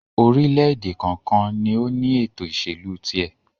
orílẹ̀-èdè kọ̀ọ̀kan ni ó ní ètò-ìsèlú tiẹ̀.